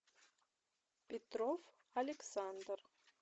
петров александр